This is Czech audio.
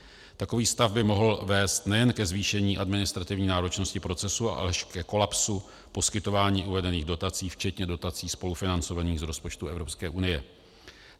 Takový stav by mohl vést nejen ke zvýšení administrativní náročnosti procesu, ale až ke kolapsu poskytování uvedených dotací včetně dotací spolufinancovaných z rozpočtu Evropské unie.